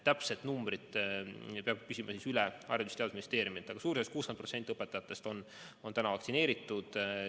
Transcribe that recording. Täpset numbrit peab küsima Haridus- ja Teadusministeeriumilt, aga suurusjärgus 60% õpetajatest on vaktsineeritud.